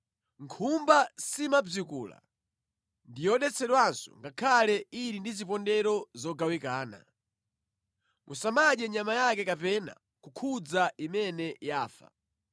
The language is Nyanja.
Nkhumba simabzikula ndi yodetsedwanso ngakhale ili ndi zipondero zogawikana. Musamadye nyama yake kapena kukhudza imene yafa.